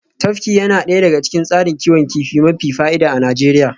Tafki yana daya daga cikin tsarin kiwon kifi mafi fa'ida a Najeriya